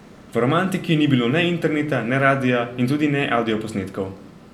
V romantiki ni bilo ne interneta, ne radia in tudi ne avdioposnetkov.